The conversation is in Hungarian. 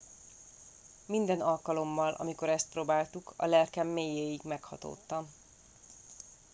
minden alkalommal amikor ezt próbáltuk a lelkem mélyéig meghatódtam